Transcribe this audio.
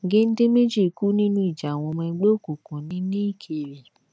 gèdè méjì kú nínú ìjà àwọn ọmọ ẹgbẹ òkùnkùn ní ní ìkéré